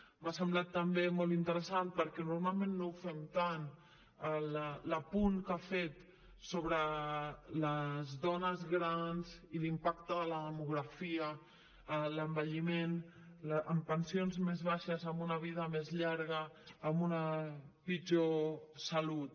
m’ha semblat també molt interessant perquè normalment no ho fem tant l’apunt que ha fet sobre les dones grans i l’impacte de la demografia l’envelliment amb pensions més baixes amb una vida més llarga amb una pitjor salut